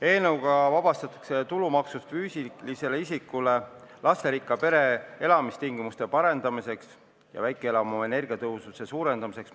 Eelnõuga vabastatakse tulumaksust toetus, mida makstakse füüsilisele isikule lasterikka pere elamistingimuste parendamiseks ja väikeelamu energiatõhususe suurendamiseks.